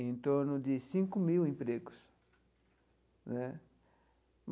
em torno de cinco mil empregos né.